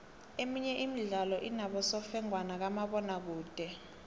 emenye imidlalo inobosofengwana bakamabona kude